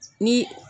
Ni